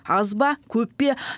аз ба көп пе